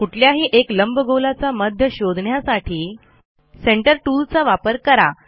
कुठल्याही एक लंबगोलाचा मध्य शोधण्यासाठी सेंटर टूलचा वापर करा